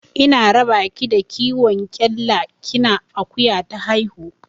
Ina raba ki da kiwon kyalla kina akuya ta haihu.